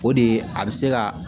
O de ye a bɛ se ka